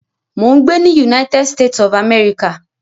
Mò ń gbé ní United States of America